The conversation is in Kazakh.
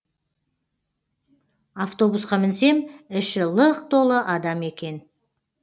автобусқа мінсем іші лық толы адам екен